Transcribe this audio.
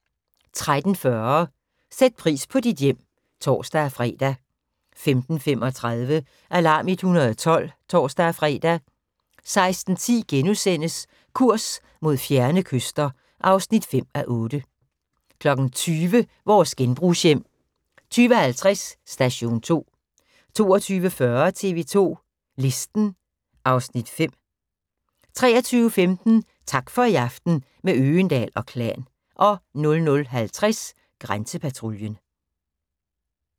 13:40: Sæt pris på dit hjem (tor-fre) 15:35: Alarm 112 (tor-fre) 16:10: Kurs mod fjerne kyster (5:8)* 20:00: Vores genbrugshjem 20:50: Station 2 22:40: TV 2 Listen (Afs. 5) 23:15: Tak for i aften – med Øgendahl & Klan 00:50: Grænsepatruljen